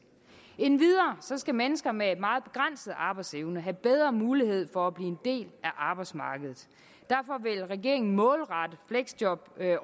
endvidere skal mennesker med en meget begrænset arbejdsevne have bedre mulighed for at blive en del af arbejdsmarkedet derfor vil regeringen målrette fleksjobordningen